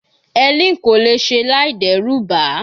Helen kò lè ṣe láì dẹ́rù ba